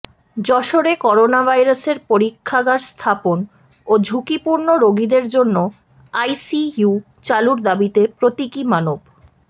যশোরে করোনাভাইরাসের পরীক্ষাগার স্থাপন ও ঝুঁকিপূর্ণ রোগীদের জন্য আইসিইউ চালুর দাবিতে প্রতীকী মানব